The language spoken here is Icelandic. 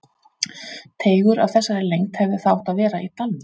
Teigur af þessari lengd hefði þá átt að vera í dalnum.